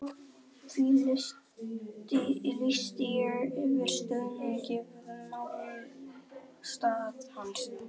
því lýsti ég yfir stuðningi við málstað hans.